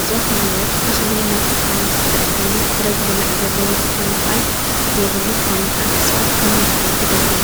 እጽዋት ማለት ተኽሊ እናተብሃለ ዝፍለጥ ኮይኑ ፍረ ዝብላዕ ዘለዉ ክኾኒኻል ዘይብሉ ክኾኒኻል እጽዋት ከም ምድኃይንት የገልገሉ